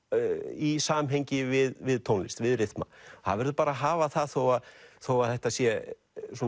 í samhengi við tónlist við rytma það verður bara að hafa það þó þó að þetta sé